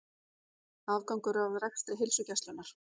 Afgangur af rekstri Heilsugæslunnar